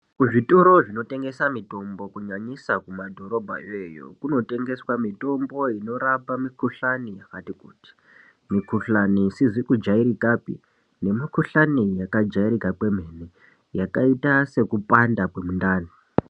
Kuzvitoro zvinotengesa mitombo kunyanyisa kumadhorobhayo iyoyo kunotengeswa mitombo inorapa mikuhlani yakati kuti. Mikuhlani isizi kujairikapi nemikuhlani yakajairika kwemene yakaita sekupanda kwemundani.